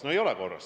No ei ole korras!